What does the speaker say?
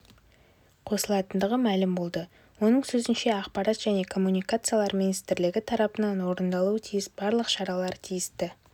қосылатындығы мәлім болды оның сөзінше ақпарат және коммуникациялар министрлігі тарапынан орындалуы тиіс барлық шаралар тиісті